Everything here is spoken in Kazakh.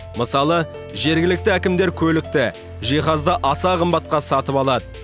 мысалы жергілікті әкімдер көлікті жиһазды аса қымбатқа сатып алады